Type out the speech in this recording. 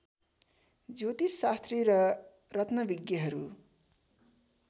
ज्योतिषशास्त्री र रत्नविज्ञहरू